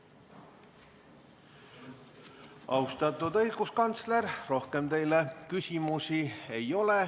Austatud õiguskantsler, rohkem teile küsimusi ei ole.